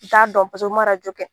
U t'a dɔn u ma kɛ.